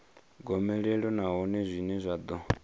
gomelelo nahone zwine zwa ḓo